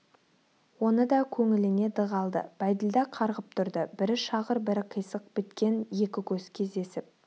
оны да көңіліне дық алды бәйділда қарғып тұрды бірі шағыр бірі қисық біткен екі көз кездесіп